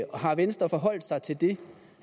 har venstre forholdt sig til det